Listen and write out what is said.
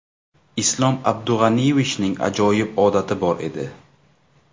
Islom Abdug‘aniyevichning ajoyib odati bor edi.